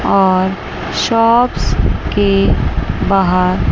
और शॉप्स के बाहर--